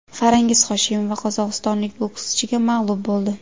Farangiz Hoshimova qozog‘istonlik bokschiga mag‘lub bo‘ldi.